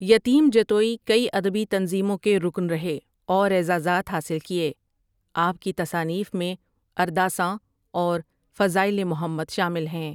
یتیم جتوئی کئی ادبی تنظیموں کے رکن رہے اور اعزازات حاصل کئے آپ کی تصانیف میں ارداساں اور فضائل محمد شامل ہیں ۔